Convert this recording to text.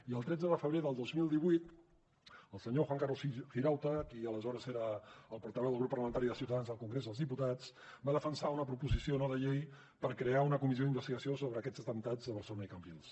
i el tretze de febrer del dos mil divuit el senyor juan carlos girauta qui aleshores era el portaveu del grup parlamentari de ciutadans al congrés dels diputats va defensar una proposició no de llei per crear una comissió d’investigació sobre aquests atemptats a barcelona i cambrils